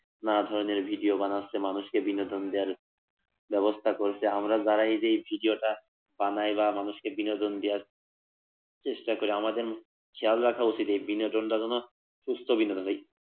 নানা রকম ভিডিও বানাচ্ছে মানুষকে বিনোদন দেওয়ার ব্যবস্থা করছে আমরা যারা এই যে ভিডিওটা বানাই বা মানুষকে বিনোদন দেওয়ার চেষ্টা করি আমাদেরও খেয়াল রাখা উচিত বিনোদনটা যেন সুস্থ বিনোদন হয়।